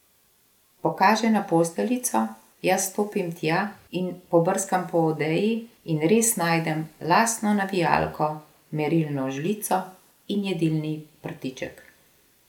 Pokaže na posteljico, jaz stopim tja in pobrskam po odeji, in res najdem lasno navijalko, merilno žlico in jedilni prtiček.